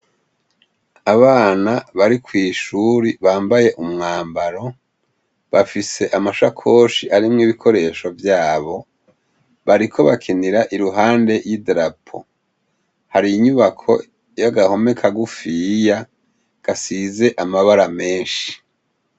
Abana bari kw'ishuri bambaye umwambaro bafise amasakoshi arimwo ibikoresho vyabo bariko bakinira iruhande yi darapo hari inyubako y'agahome kagufiya gasize amabara meshi.